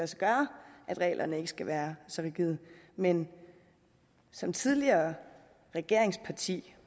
sig gøre at reglerne ikke skal være så rigide men som tidligere regeringsparti